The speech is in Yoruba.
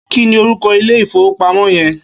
Kini órúkò ilé ifówópámò yèn?